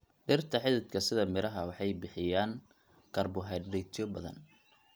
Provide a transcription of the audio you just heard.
Dhirta xididka sida miraha waxay bixiyaan karbohaydraytyo badan.